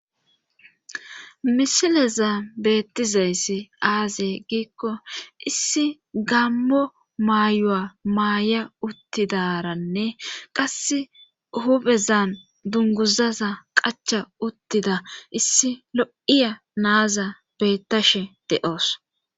Misileza beettizayssi aazey giikko issi gammo maayu'a maaya uttidaranne qass huphezan dunguzaza qacha uttida issi lo'iya naaza beettashe de'oos.